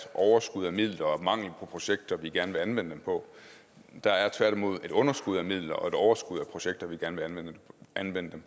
overskud af midler og mangel på projekter vi gerne vil anvende dem på der er tværtimod et underskud af midler og et overskud af projekter vi gerne vil anvende dem